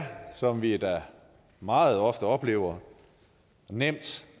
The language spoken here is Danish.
som vi da meget ofte oplever nemt